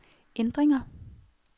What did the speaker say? ændringer